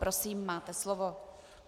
Prosím, máte slovo.